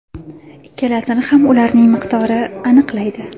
Ikkalasini ham ularning miqdori aniqlaydi.